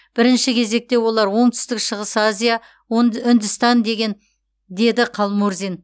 бірінші кезекте олар оңтүстік шығыс азия үндістан деді қалмұрзин